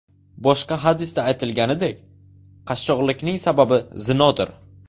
Boshqa hadisda aytilganidek, qashshoqlikning sababi zinodir.